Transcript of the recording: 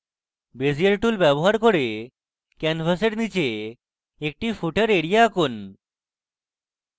এবং bezier tool ব্যবহার ক্যানভাসের নীচে একটি footer এরিয়া আঁকুন